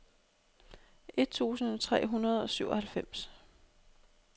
et tusind tre hundrede og syvoghalvfems